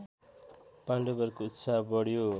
पाण्डवहरूको उत्साह बढ्यो